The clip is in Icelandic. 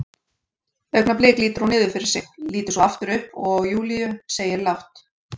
Augnablik lítur hún niður fyrir sig, lítur svo aftur upp og á Júlíu, segir lágt